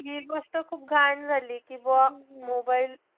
नाई हि गोष्ट खूप घाण झाली कि बौ, mobile